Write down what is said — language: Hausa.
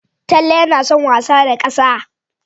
Talle yana son wasa da ƙasa.